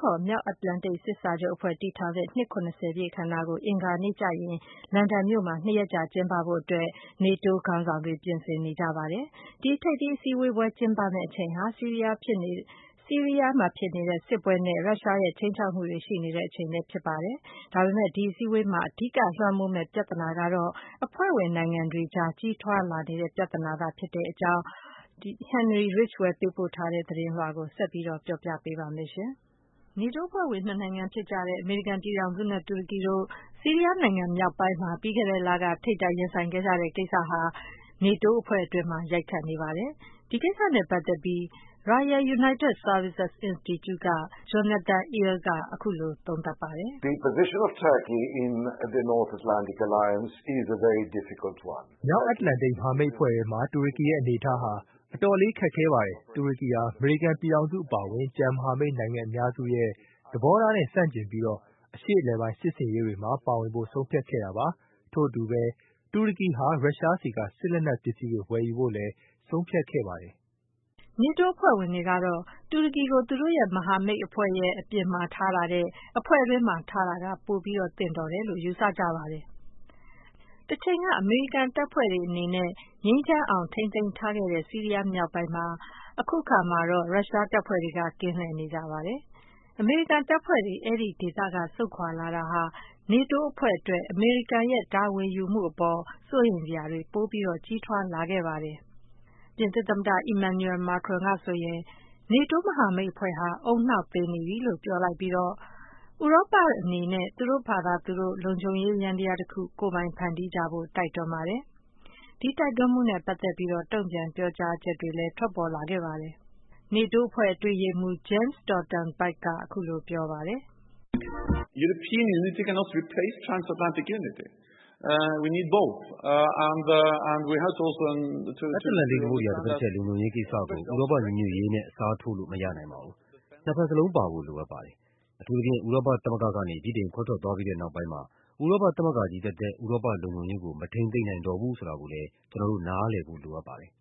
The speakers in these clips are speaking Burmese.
ခေါ် မြောက်အတ္တလန္တိတ် စစ်စာချုပ်အဖွဲ့ တည်ထောင်တဲ့ နှစ် ၇၀ ပြည့် အခမ်းအနားကို အင်္ဂါနေ့ကျရင် လန်ဒန်မြို့မှာ ၂ ရက်ကြာ ကျင်းပဖို့ နေတိုးခေါင်းဆောင်တွေ ပြင်ဆင်နေကြပါတယ်။ ဒီ ထိပ်သီးအစည်းအဝေးပွဲ ကျင်းပတဲ့အချိန်ဟာ ဆီးရီးယားမှာဖြစ်နေတဲ့ စစ်ပွဲနဲ့ ရုရှားရဲ့ ခြိမ်းခြောက်မှုတွေ ရှိနေတဲ့အချိန်မှာ ဖြစ်ပါတယ်။ ဒါပေမယ့် ဒီအစည်းအဝေးမှာ အဓိကလွှမ်းမိုးမယ့် ပြဿနာကတော့ အဖွဲ့ဝင်နိုင်ငံတွေကြား ကြီးထွားလာနေတဲ့ ပြဿနာသာဖြစ်တယ်လို့ Henry Ridgwell ကဆိုပါတယ်။ အပြည့်အစုံကို မခွာညိုက တင်ပြပေးထားပါတယ်။ နေတိုးအဖွဲ့ဝင် နှစ်နိုင်ငံဖြစ်ကြတဲ့ အမေရိကန်ပြည်ထောင်စုနဲ့ တူရကီတို့ ဆီးရီးယားနိုင်ငံ မြောက်ပိုင်းမှာ ပြီးခဲ့တဲ့လက ထိပ်တိုက်ရင်ဆိုင် ဖြစ်ခဲ့ကြတဲ့ကိစ္စဟာ နေတိုးအဖွဲ့အတွင်းမှာ ရိုက်ခတ်နေပါတယ်။ ဒီကိစ္စနဲ့ပတ်သက်ပြီး Royal United Services Institute က Jonathan Eyal က အခုလို သုံးသပ်ပါတယ်။ “မြောက်အတ္တလန္တိတ် မဟာမိတ်အဖွဲ့ထဲမှာ တူရကီရဲ့ အနေအထားဟာ အတော်လေး ခက်ခဲပါတယ်။ တူရကီဟာ အမေရိကန်ပြည်ထောင်စု အပါအဝင် ကျန်မဟာမိတ်နိုင်ငံ အများစုရဲ့ သဘောထားနဲ့ ဆန့်ကျင်ပြီးတော့ အရှေ့အလယ်ပိုင်း စစ်ဆင်ရေးတွေမှာ ပါဝင်ဖို့ ဆုံးဖြတ်ခဲ့တာပါ။ ထို့အတူပဲ တူရကီဟာ ရုရှားဆီက စစ်လက်နက်ပစ္စည်းတွေ ဝယ်ယူဖို့လည်း ဆုံးဖြတ်ခဲ့ပါတယ်။” နေတိုးအဖွဲ့ဝင်တွေကတော့ တူရကီကို သူတို့မဟာမိတ်အဖွဲ့ ပြင်ပမှာ ထားတာထက် အဖွဲ့တွင်းမှာ ထားတာက ပိုသင့်တယ်လို့ ယူဆကြပါတယ်။ တချိန်က အမေရိကန်တပ်ဖွဲ့တွေ ငြိမ်းချမ်းအောင် ထိန်းသိမ်းထားခဲ့တဲ့ ဆီးရီးယားမြောက်ပိုင်းမှာ အခုအခါ ရုရှားတပ်ဖွဲ့တွေက ကင်းလှည့်နေကြပါတယ်။ အမေရိကန်တပ်ဖွဲ့တွေ အဲဒီဒေသက ဆုတ်ခွာလာတာဟာ နေတိုးအဖွဲ့အတွက် အမေရိကန်ရဲ့ တာဝန်ယူမှုအပေါ် စိုးရိမ်စရာတွေ ပိုမိုကြီးထွားလာခဲ့ပါတယ်။ ပြင်သစ်သမ္မတ Emmanuel Macron ဟာဆိုရင် နေတိုးမဟာမိတ်အဖွဲ့ဟာ ဦးနှောက်သေနေပြီလို့ ပြောလိုက်ပြီးတော့ ဥရောပအနေနဲ့ သူတို့ဘာသာသူတို့ လုံခြုံရေးယန္တရားတခု ကိုယ်ပိုင်ဖန်တီးကြဖို့ တိုက်တွန်းလိုက်ပါတယ်။ ဒီတိုက်တွန်းမှုနဲ့ ပတ်သက်ပြီးတော့ တုံ့ပြန် ပြောကြားချက်တွေလည်း ပေါ်ထွက်လာခဲ့ပါတယ်။ နေတိုးအဖွဲ့ အတွင်းရေးမှူးချုပ် Jens Stoltenberg က အခုလို ပြောပါတယ်။ “အတ္တလန္တိတ် သမုဒ္ဒရာရဲ့ တဖက်တချက် လုံခြုံရေးကိစ္စကို ဥရောပညီညွတ်ရေးနဲ့ အစားထိုးလို့ မရနိုင်ပါဘူး။ နှစ်ဖက်စလုံးပါဖို့ လိုအပ်ပါတယ်။ အထူးသဖြင့် ဥရောပသမဂ္ဂက ဗြိတိန်ခွဲထွက်သွားပြီးတဲ့ နောက်ပိုင်းမှာ ဥရောပသမဂ္ဂချည်းသက်သက် ဥရောပလုံခြုံရေးကို မထိန်းသိမ်းနိုင်တော့ဘူး ဆိုတာကိုလည်း ကျနော်တို့ နားလည်ဖို့ လိုအပ်ပါတယ်။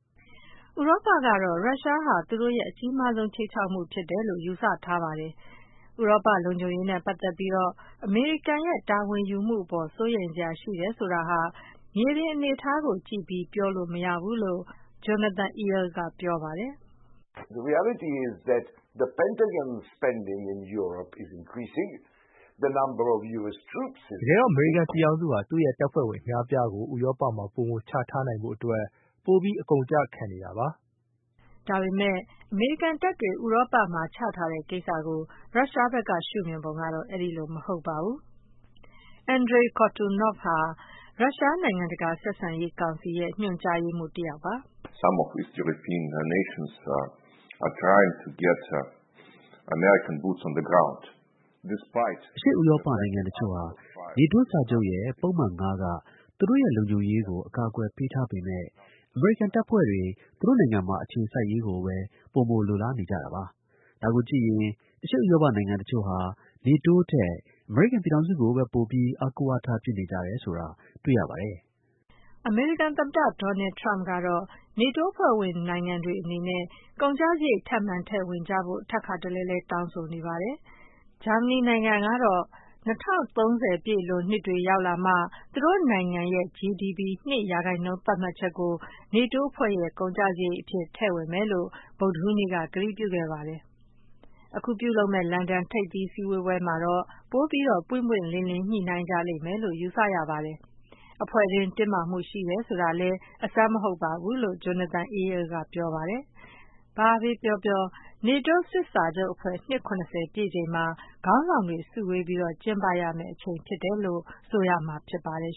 ” ဥရောပကတော့ ရုရှားဟာ သူတို့ရဲ့ အကြီးမားဆုံး ခြိမ်းခြောက်မှု ဖြစ်တယ်လို့ ယူဆထားပါတယ်။ ဥရောပလုံခြုံရေးနဲ့ ပတ်သက်ပြီးတော့ အမေရိကန်ရဲ့ တာဝန်ယူမှုအပေါ် စိုးရိမ်စရာရှိတယ်ဆိုတာဟာ မြေပြင်အနေအထားကိုကြည့်ပြီး ပြောလို့မရဘူးလို့ Jonathan Eyal က ဆိုပါတယ်။ “တကယ်တော့ အမေရိကန်ပြည်ထောင်စုဟာ သူ့ရဲ့တပ်ဖွဲ့ဝင် အများအပြားကို ဥရောပမှာ ပိုမိုချထားနိုင်ဖို့အတွက် ပိုပြီး အကုန်အကျ ခံနေတာပါ။” ဒါပေမယ့် အမေရိကန်တပ်တွေ ဥရောပမှာ ချထားတဲ့ကိစ္စကို ရုရှားဘက်က ရှုမြင်ပုံကတော့ ဒီလိုမဟုတ်ပါဘူး။ Andrey Kortunov ဟာ ရုရှား နိုင်ငံတကာဆက်ဆံရေးကောင်စီရဲ့ ညွှန်ကြားရေးမှူးတယောက် ဖြစ်ပါတယ်။ “အရှေ့ဥရောပနိုင်ငံတချို့ဟာ နေတိုးစာချုပ်ရဲ့ ပုဒ်မ ၅ က သူတို့ရဲ့လုံခြုံရေးကို အကာအကွယ် ပေးထားပေမယ့် အမေရိကန်တပ်ဖွဲ့တွေ သူတို့နိုင်ငံမှာ အခြေစိုက်ရေးကိုပဲ ပိုမိုလိုလားနေကြတာပါ။ ဒါကိုကြည့်ရင် အရှေ့ဥရောပနိုင်ငံတချို့ဟာ နေတိုးထက် အမေရိကန်ပြည်ထောင်စုကိုပဲ ပိုပြီး အားကိုးအားထား ပြုနေကြတယ်ဆိုတာ တွေ့ရပါတယ်။” အမေရိကန်သမ္မတ Donald Trump ကတော့ နေတိုးအဖွဲ့ဝင်နိုင်ငံတွေ အနေနဲ့ ကုန်ကျစရိတ် ထပ်မံထည့်ဝင်ကြဖို့ ထပ်ခါတလဲလဲ တောင်းဆိုနေပါတယ်။ ဂျာမနီကတော့ ၂၀၃၀ ပြည့်လွန်နှစ်တွေ ရောက်လာမှ သူတို့နိုင်ငံရဲ့ GDP ၂% သတ်မှတ်ချက်ကို နေတိုးအဖွဲ့ရဲ့ ကုန်ကျစရိတ်အဖြစ် ထည့်ဝင်မယ်လို့ ဗုဒ္ဓဟူးနေ့က ကတိပြုခဲ့ပါတယ်။ အခုပြုလုပ်မယ့် လန်ဒန်ထိပ်သီး စည်းဝေးပွဲမှာတော့ ပိုပြီးတော့ ပွင့်ပွင့်လင်းလင်း ညှိနှိုင်းကြလိမ့်မယ်လို့ ယူဆရပါတယ်။ အဖွဲ့တွင်း တင်းမာမှုရှိတယ် ဆိုတာလည်း အဆန်းမဟုတ်ပါဘူးလို့ Jonathan Eyal က ပြောပါတယ်။ ဘာပဲပြောပြော ဒီ နေတိုးအဖွဲ့ နှစ် ၇၀ ပြည့်ချိန်မှာ ခေါင်းဆောင်တွေ စုဝေးပြီး ကျင်းပရမယ့်အချိန် ဖြစ်တယ်လို့ ဆိုရမှာဖြစ်ပါတယ်